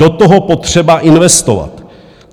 Do toho potřeba investovat.